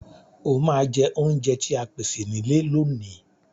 Ẹ ma jẹ oúnjẹ tí a pèsè nílé lóòní.